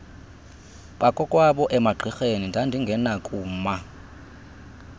bakokwabo emagqirheni ndandingenakuma